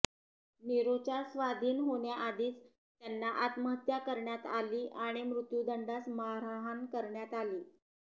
निरोच्या स्वाधीन होण्याआधीच त्यांना आत्महत्या करण्यात आली आणि मृत्युदंडास मारहाण करण्यात आली